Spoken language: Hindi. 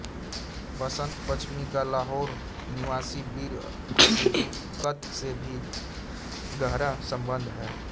वसंत पंचमी का लाहौर निवासी वीर हकीकत से भी गहरा सम्बन्ध है